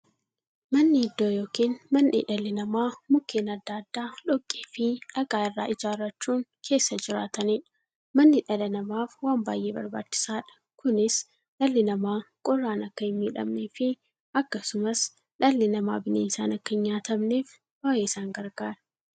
Manni iddoo yookiin mandhee dhalli namaa Mukkeen adda addaa, dhoqqeefi dhagaa irraa ijaarachuun keessa jiraataniidha. Manni dhala namaaf waan baay'ee barbaachisaadha. Kunis, dhalli namaa qorraan akka hinmiidhamneefi akkasumas dhalli namaa bineensaan akka hinnyaatamneef baay'ee isaan gargaara.